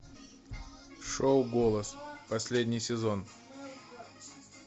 шоу голос последний сезон